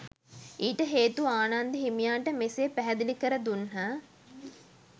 ඊට හේතු ආනන්ද හිමියන්ට මෙසේ පැහැදිලි කර දුන්හ.